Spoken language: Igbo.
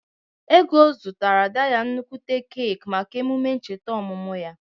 Ego zụtara Ada ya nnukwute keeki maka emume ncheta ọmụmụ ya.